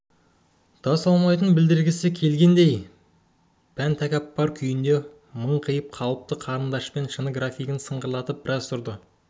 да салмайтынын білдіргісі келгендей пан-тәкаппар күйінде маңқиып қалыпты қарындашпен шыны графинді сыңғырлатып біраз тұрды